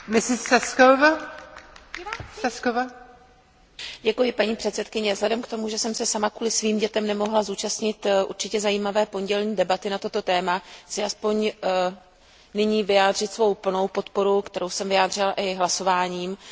Vážená paní předsedající, vzhledem k tomu, že jsem se sama kvůli svým dětem nemohla zúčastnit určitě zajímavé pondělní debaty na toto téma, chci alespoň nyní vyjádřit svou plnou podporu, kterou jsem vyjádřila i hlasováním, tomuto usnesení.